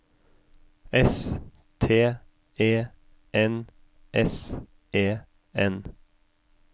S T E N S E N